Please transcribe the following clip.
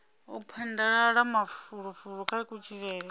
u phadaladza mafulufulo kha kutshilele